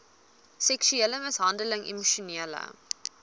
seksuele mishandeling emosionele